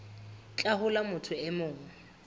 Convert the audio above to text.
tlhaho la motho e mong